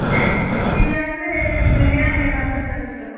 ಇಲ್ಲ ಅಂದ್ರೆ, biriyani ಏನಾದ್ರು ತರಿಸ್ಬೇಕು.